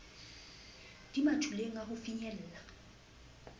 di mathuleng a ho finyella